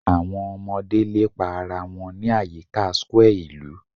Awọn ọmọde lepa ara wọn ni ayika square ilu